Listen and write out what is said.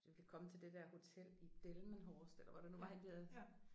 Så vi kan komme til det der hotel i Delmenhorst eller hvor det nu var henne vi havde